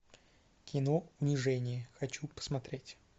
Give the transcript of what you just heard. кино унижение хочу посмотреть